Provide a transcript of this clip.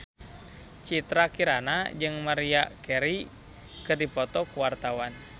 Citra Kirana jeung Maria Carey keur dipoto ku wartawan